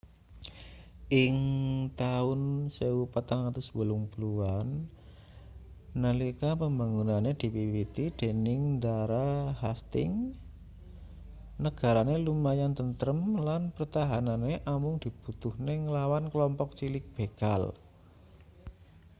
ing taun 1480an nalika pembangunane diwiwiti dening ndara hastings negarane lumayan tentrem lan pertahanane amung dibutuhne nglawan kelompok cilik begal